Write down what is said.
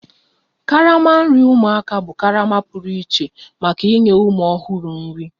Karama nri ụmụaka bụ karama pụrụ iche maka inye ụmụ ọhụrụ nri